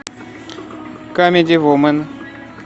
камеди вумен